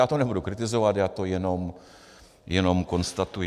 Já to nebudu kritizovat, já to jenom konstatuji.